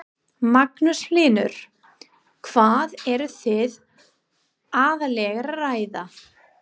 Magnús Hlynur: Hvað eru þið aðallega að ræða?